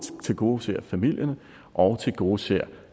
tilgodeser familierne og tilgodeser